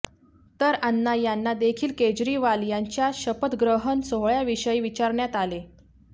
तर अण्णा यांना देखील केजरीवाल यांच्या शपथग्रहण सोहळ्याविषयी विचारण्यात आले